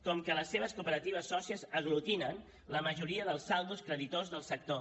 com que les seves cooperatives sòcies aglutinen la majoria dels saldos creditors del sector